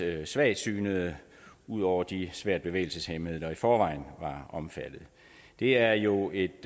svagsynede ud over de svært bevægelseshæmmede der i forvejen var omfattet det er jo et